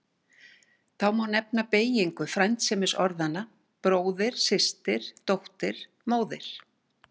Þá má nefna beygingu frændsemisorðanna bróðir, systir, dóttir, móðir.